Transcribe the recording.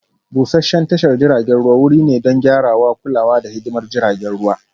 Busasshen tashar jiragen ruwa wuri ne don gyarawa, kulawa, da hidimar jiragen ruwa